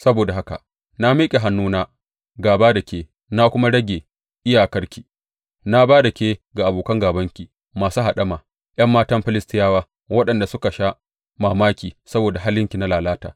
Saboda haka na miƙa hannuna gāba da ke na kuma rage iyakarki; na ba da ke ga abokan gābanki masu haɗama, ’yan matan Filistiyawa, waɗanda suka sha mamaki saboda halinki na lalata.